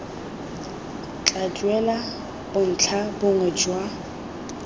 tla duela bontlha bongwe jwa